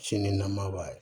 Sini nama b'a ye